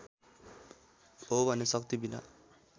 हो भने शक्तिबिना